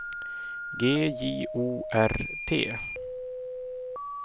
G J O R T